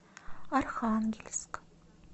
архангельск